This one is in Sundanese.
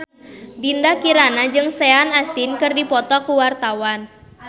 Dinda Kirana jeung Sean Astin keur dipoto ku wartawan